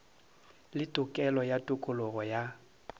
le tokelo ya tokologo ya